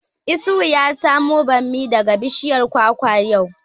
Isuhu ya samo bammi daga bishiyar kwakwa yau